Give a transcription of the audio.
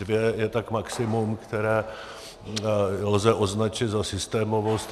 Dvě je tak maximum, které lze označit za systémovost.